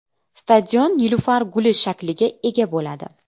Stadion nilufar guli shakliga ega bo‘ladi.